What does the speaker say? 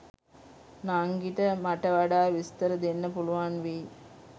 නංගිට මට වඩා විස්තර දෙන්න පුලුවන් වෙයි.